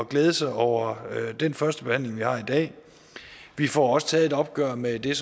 glæde sig over den første behandling vi har i dag vi får også taget et opgør med det